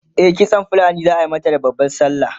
e kitsan fulani zaa mata da babban sallah